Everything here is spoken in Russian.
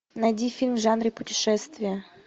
найди фильм в жанре путешествия